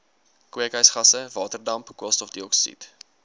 kweekhuisgasse waterdamp koolstofdioksied